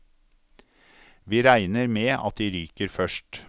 Vi regner med at de ryker først.